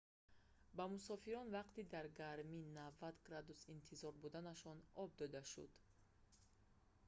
ба мусофирон вақти дар гармии 90°f интизор буданашон об дода шуд